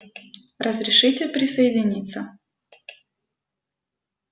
разрешите присоединиться